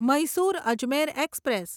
Mysore Ajmer express